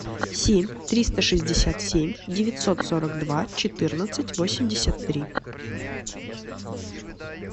семь триста шестьдесят семь девятьсот сорок два четырнадцать восемьдесят три